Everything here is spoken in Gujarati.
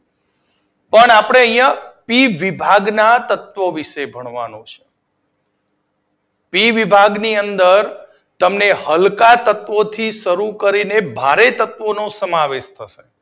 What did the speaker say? પણ આપડે અહિયાં પી વિભાગના તત્વો વિષે ભણવાનું છે. પી વિભાગની અંદર તમે હલકા તત્વોથી શરૂ કરીને બારે તત્વોનું સમાવેશ કરો